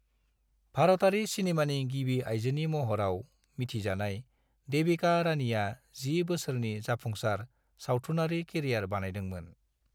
भारतारि सिनेमानि गिबि आयजोनि महराव मिथिजानाय देविका रानीआ 10 बोसोरनि जाफुंसार सावथुनारि केरियार बानायदोंमोन।